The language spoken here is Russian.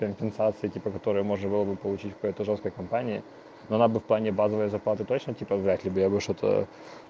компенсация типа которой можно было бы получить по этой жёсткой компании но она бы в плане базовой зарплаты точно вряд ли я бы что-то